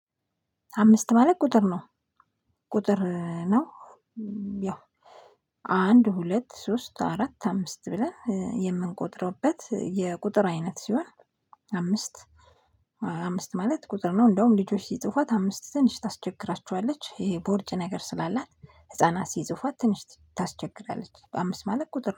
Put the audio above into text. አምስት ማለት ቁጥር ነው። ቁጥር ነው። ያው አንድ ሁለት ሶስት አራት አምስት ብለን የምንቆጥርበት የቁጥር አይነት ሲሆን። አምስት። አምስት ማለት ቁጥር ነው። እንደውም ልጆች ሲጽፏት አምስት ትንሽ ታስቸግራችዋለች ይሄ ቦርጭ ነገር ስላላት። ህፃናት ሲጽፏት ትንሽ ታስቸግራለች በአምስት ማለት ቁጥር ነው